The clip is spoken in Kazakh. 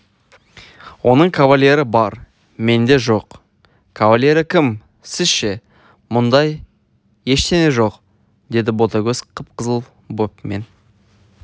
оның кавалері бар менде жоқ кавалері кім сіз ше мұндай ештеңе жоқ деді ботагөз қып-қызыл боп мен